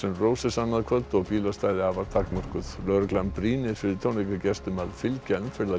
NRoses annað kvöld og bílastæði afar takmörkuð lögreglan brýnir fyrir tónleikagestum að fylgja